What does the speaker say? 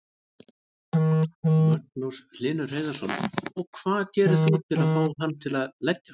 Magnús Hlynur Hreiðarsson: Og hvað gerir þú til að fá hann til að leggjast?